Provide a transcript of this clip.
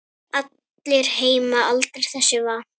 Allir heima aldrei þessu vant.